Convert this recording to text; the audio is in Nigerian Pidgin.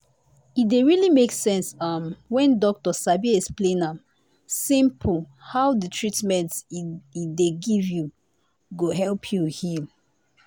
e dey really make sense um when doctor sabi explain am.simple how the treatment e dey give you go help you heal